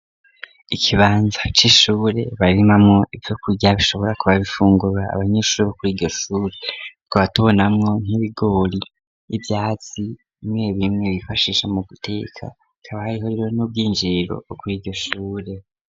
Ikibanza cishure barimamwo ivyo kurya bishobora kuba bifungura abanyeshuri bo kuri ryoshure kubatubonamwo nk'ibigori ivyatsi bimwe bimwe bifashisha mu guteka kabaye horewe n'ubw'injiriro bwokuri iryoshure.